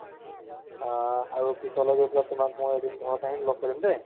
অহ্, আৰু পিছলে গৈ পেলাই তোমাক মই এদিন ঘৰত আহিম লগ কৰিম দে